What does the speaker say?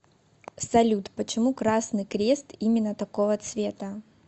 салют почему красный крест именно такого цвета